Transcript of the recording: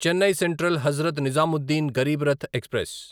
Chennai central Hazrat Nizamuddin Rath Garib express